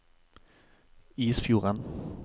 Isfjorden